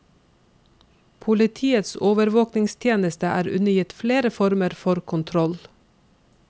Politiets overvåkingstjeneste er undergitt flere former for kontroll.